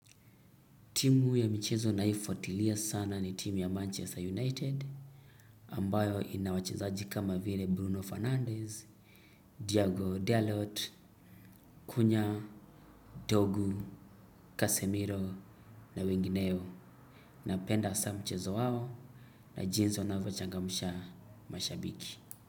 Timu ya michezo naifuatilia sana ni timu ya Manchester United ambayo ina wachezaji kama vile Bruno Fernandes, Diago Dalot, Kunya, Dorgu, Casemiro na wengineo napenda saa mchezo wao na jinsi wanavyochangamsha mashabiki.